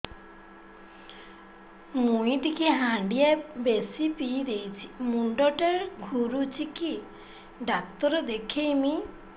ମୁଇ ଟିକେ ହାଣ୍ଡିଆ ବେଶି ପିଇ ଦେଇଛି ମୁଣ୍ଡ ଟା ଘୁରୁଚି କି ଡାକ୍ତର ଦେଖେଇମି